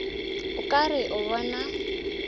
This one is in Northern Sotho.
o ka re o bona